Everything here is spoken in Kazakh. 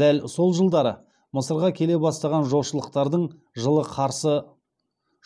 дәл сол жылдары мысырға келе бастаған жошылықтарды